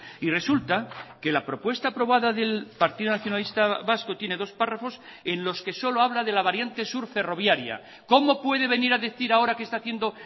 y resulta que la propuesta aprobada del partido nacionalista vasco tiene dos párrafos en los que solo habla de la variante sur ferroviaria cómo puede venir a decir ahora que está haciendo